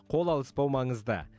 қол алыспау маңызды